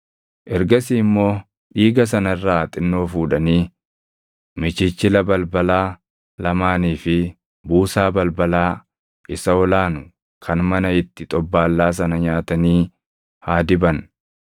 Ergasii immoo dhiiga sana irraa xinnoo fuudhanii michichila balbalaa lamaanii fi buusaa balbalaa isa ol aanu kan mana itti xobbaallaa sana nyaatanii haa diban.